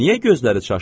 Niyə gözləri çaşdı?